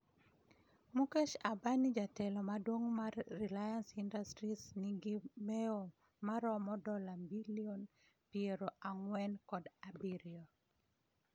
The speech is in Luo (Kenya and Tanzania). Mukesh Ambani jatelo maduong' mar Reliance Industries nigi mewo maromo dola bilion piero ang'wen kod abirio